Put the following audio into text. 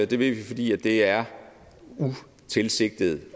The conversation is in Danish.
det vil vi fordi det er utilsigtet